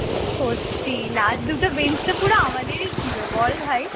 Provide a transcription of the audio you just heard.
সত্যি last দুটো বেঞ্চতো পুরো আমাদেরই ছিল বল ভাই